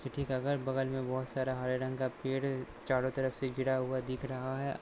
ठीक अगर बगल में बहुत सारा हरे रंग का पेड़ चारों तरफ से गिरा हुआ दिख रहा है।